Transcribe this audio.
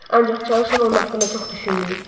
Ancaq çalışın onun haqqında çox düşünməyin.